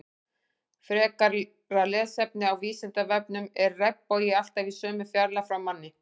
Frekara lesefni á Vísindavefnum Er regnbogi alltaf í sömu fjarlægð frá manni?